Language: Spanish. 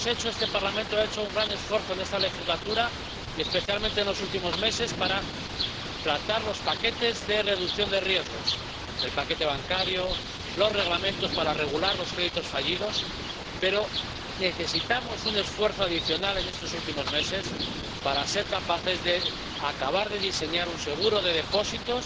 Este Parlamento ha hecho un gran esfuerzo en esta legislatura y, especialmente, en los últimos meses para tratar los paquetes de reducción de riesgos —el paquete bancario, los Reglamentos para regular los créditos fallidos—, pero necesitamos un esfuerzo adicional en estos últimos meses para ser capaces de acabar de diseñar un seguro de depósitos